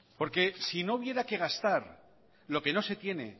porque si no hubiera que gastar lo que no se tiene